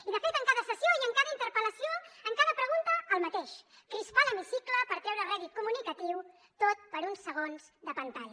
i de fet en cada sessió i en cada interpel·lació en cada pregunta el mateix crispar l’hemicicle per treure rèdit comunicatiu tot per uns segons de pantalla